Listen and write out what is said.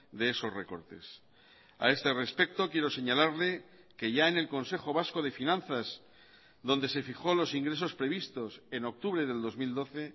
de esos recortes a este respecto quiero señalarle que ya en el consejo vasco de finanzas donde se fijó los ingresos previstos en octubre del dos mil doce